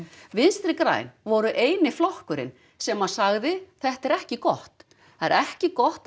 vinstri græn voru eini flokkurinn sem sagði þetta er ekki gott það er ekki gott að